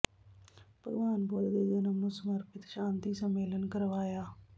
ਭਗਵਾਨ ਬੁੱਧ ਦੇ ਜਨਮ ਨੂੰ ਸਮਰਪਿਤ ਸ਼ਾਤੀ ਸੰਮੇਲਨ ਕਰਵਾਇਆ